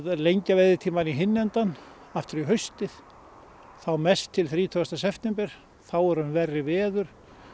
lengja veiðitímann í hinn endann um haustið þá mest til þrítugasta september þá eru verri veður